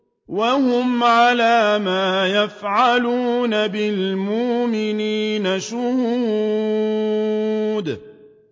وَهُمْ عَلَىٰ مَا يَفْعَلُونَ بِالْمُؤْمِنِينَ شُهُودٌ